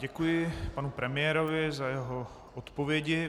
Děkuji panu premiérovi za jeho odpovědi.